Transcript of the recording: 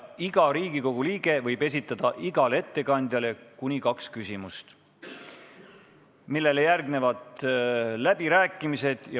Iga Riigikogu liige võib esitada igale ettekandjale kuni kaks küsimust, millele järgnevad läbirääkimised.